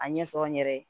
A ɲɛ sɔrɔ n yɛrɛ ye